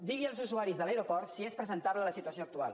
digui als usuaris de l’aeroport si és presentable la situació actual